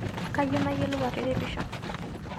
Kayieu nayielou atiripisho